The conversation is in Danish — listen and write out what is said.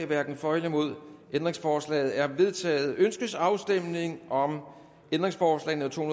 hverken for eller imod stemte ændringsforslaget er vedtaget ønskes afstemning om ændringsforslag nummer to